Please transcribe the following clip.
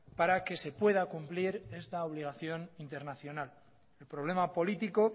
para que se pueda cumplir esta obligación internacional el problema político